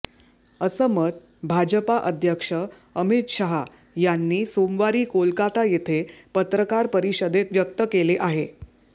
असं मत भाजपा अध्यक्ष अमित शाह यांनी सोमवारी कोलकाता येथे पत्रकार परिषदेत व्यक्त केले आहे